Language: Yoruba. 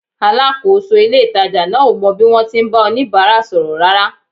Alákòóso ilé-ìtàjà náà ò mọ bí wọ́n ti ń bá oníbàárà sọ̀rọ̀ rárá